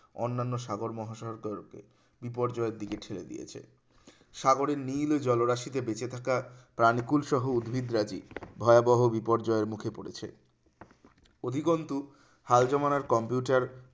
অন্যান্য সাগর-মহাসাগর তরফে বিপর্যয়ের দিকে ঠেলে দিয়েছে সাগরের নীলও জলরাশিতে বেঁচে থাকা প্রাণীকুল সহ উদ্ভিদ রাজী ভয়াবহ বিপর্যয়ের মুখে পড়েছে অধিকন্তু হাল জমানার computer